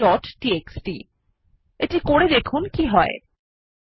আবার স্লাইডে ফিরে যাওয়া যাক